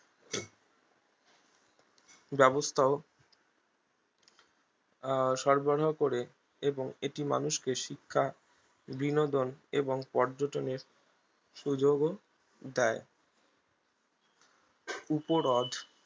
ব্যাবস্থাও আহ সরবাহ করে এবং এটি মানুষকে শিক্ষা বিনোদন এবং পর্যটনের সুযোগ ও দেয় উপহ্রদ